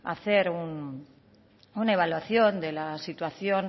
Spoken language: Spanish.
hacer una evaluación de la situación